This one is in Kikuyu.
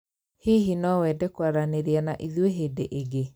Hihi no wende kwaranĩria na ithuĩ hĩndĩ ĩngĩ?